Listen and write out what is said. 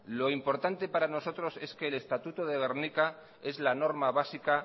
lo importante para nosotros es que el estatuto de gernika es la normas básica